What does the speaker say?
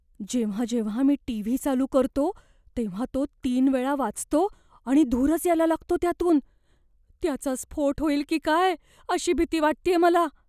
जेव्हा जेव्हा मी टीव्ही चालू करतो, तेव्हा तो तीन वेळा वाजतो आणि धूरच यायला लागतो त्यातून. त्याचा स्फोट होईल की काय अशी भीती वाटतेय मला.